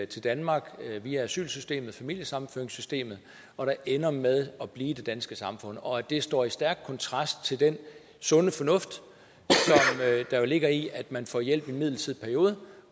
til danmark via asylsystemet familiesammenføringssystemet ender med at blive i det danske samfund og at det står i stærk kontrast til den sunde fornuft der jo ligger i at man får hjælp i en midlertidig periode